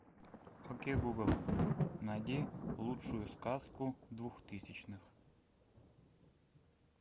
окей гугл найди лучшую сказку двухтысячных